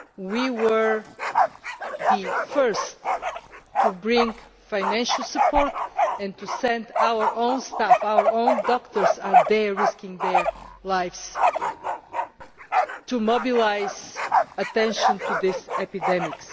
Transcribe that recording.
We were the first to bring financial support and to send our own staff our own doctors are there risking their lives to mobilise attention to this epidemic.